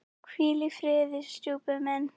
Hvíl í friði, stjúpi minn.